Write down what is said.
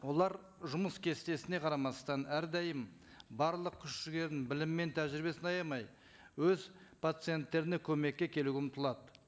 олар жұмыс кестесіне қарамастан әрдайым барлық күш жігерін білім мен тәжірибесін аямай өз пациенттеріне көмекке келуге ұмтылады